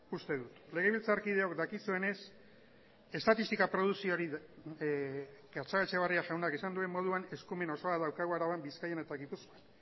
uste dut legebiltzarkideok gatxagaetxebarria jaunak esan duen moduan estatistikak eskumen osoa daukagu araban bizkaian eta gipuzkoan